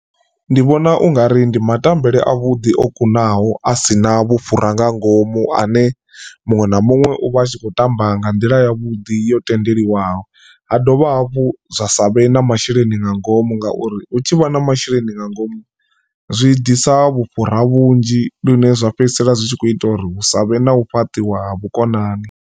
Ndi vhona ungari ndi matambele avhuḓi o kunaho asina vhufhura nga ngomu ane muṅwe na muṅwe uvha atshi kho tamba nga nḓila yavhuḓi yo tendeliwaho ha dovha hafhu zwa sa vhe na masheleni nda nga ngomu ngauri hu tshivha na masheleni nga ngomu zwi ḓisa vhufhura vhunzhi lune zwa fhedzisela zwitshi kho ita uri hu savhe na u fhaṱiwa ha vhukonani.